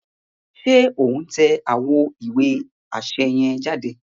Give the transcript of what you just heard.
Ṣe o n tẹ awọn ìwé aṣẹ yen jáde?